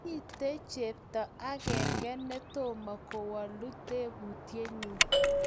mito chepto ageng� netomo kowolu tebutienyu